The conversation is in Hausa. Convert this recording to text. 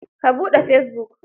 Ka buɗe fesibuk.